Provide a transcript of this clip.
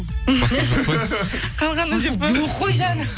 басқа жоқ па қалғаны деп па